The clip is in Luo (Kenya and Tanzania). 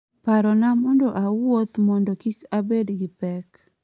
parona mondo awuoth mondo kik abed gi pek